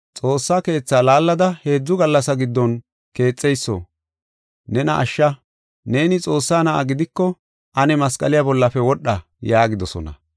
“Xoossa Keethaa laallada heedzu gallasa giddon keexeyso, nena ashsha. Neeni Xoossaa Na7a gidiko, ane masqaliya bollafe wodha” yaagidosona.